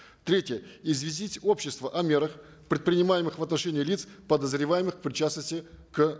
третье известить общество о мерах предпринимаемых в отношении лиц подозреваемых в причастности к